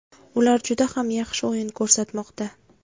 Ular juda ham yaxshi o‘yin ko‘rsatmoqda.